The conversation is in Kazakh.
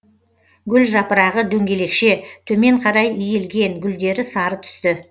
гүл жапырағы дөңгелекше төмен қарай иілген гүлдері сары түсті